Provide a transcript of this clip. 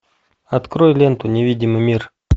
открой ленту невидимый мир